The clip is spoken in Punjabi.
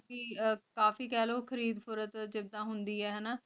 ਕਾਫੀ ਕੇਹ੍ਲੋ ਖ਼ਰੀਦ ਫ਼ਰੋਖ੍ਤ ਜਿਦਾਂ ਹੁੰਦੀ ਆਯ ਨਾ